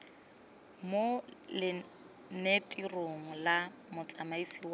mo lenanetirong la motsamaisi wa